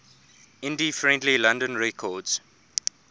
indie friendly london records